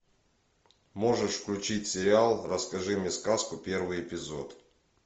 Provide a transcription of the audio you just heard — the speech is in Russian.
можешь включить сериал расскажи мне сказку первый эпизод